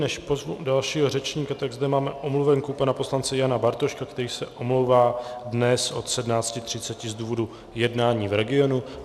Než pozvu dalšího řečníka, tak zde máme omluvenku pana poslance Jana Bartoška, který se omlouvá dnes od 17.30 z důvodu jednání v regionu.